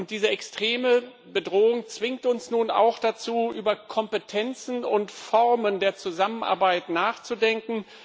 Diese extreme Bedrohung zwingt uns nun auch dazu, über Kompetenzen und Formen der Zusammenarbeit nachzudenken.